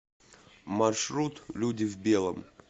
маршрут люди в белом